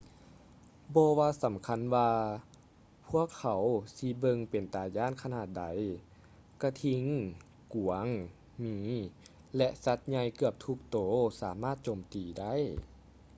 ບໍ່ວ່າສຳຄັນວ່າພວກເຂົາຊິເບິ່ງເປັນຕາຢ້ານຂະໜາດໃດ ກະທິງ ກວາງ ໝີ ແລະ ສັດໃຫຍ່ເກືອບທຸກໂຕສາມາດໂຈມຕີໄດ້